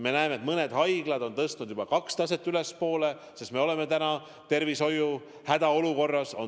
Me näeme, et mõned haiglad on tõstnud juba kaks taset ülespoole, sest tervishoius on hädaolukord.